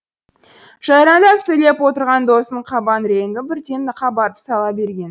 жайраңдап сөйлеп отырған досының қабақ реңі бірден қабарып сала берген